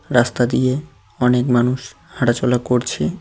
রাস্তা দিয়ে অনেক মানুষ হাঁটাচলা করছে।